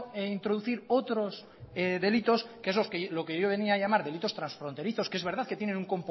introducir otros delitos que es los que yo venía a llamar delitos transfronterizos que es verdad que tiene un